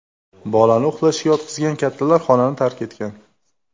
Bolani uxlashga yotqizgan kattalar xonani tark etgan.